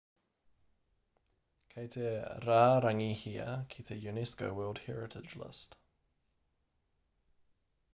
kei te rārangihia ki te unesco world heritage list